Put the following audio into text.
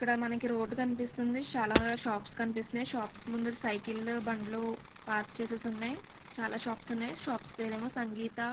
ఇక్కడ మనకి రోడ్డు కనిపిస్తుంది. చాలా షాప్ కనిపిస్తే షాప్స్ ముందు సైకిల్ లు బండ్లు పార్క్ చేసేసి ఉన్నాయి. చాలా షాప్స్ ఉన్నాయి. షాప్స్ పేరు ఏమో సంగీత --